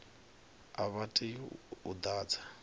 a vha tei u ḓadza